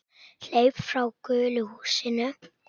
Hleyp frá gulu húsinu.